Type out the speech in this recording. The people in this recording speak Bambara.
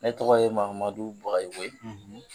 Ne tɔgɔ ye Mahamadu Bagayogo ye,